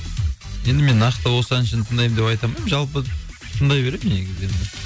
енді мен нақты осы әншіні тыңдаймын деп айта алмаймын жалпы тыңдай берем негізі енді